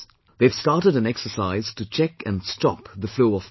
They have started an exercise to check and stop the flow of water